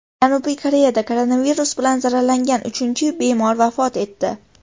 Janubiy Koreyada koronavirus bilan zararlangan uchinchi bemor vafot etdi.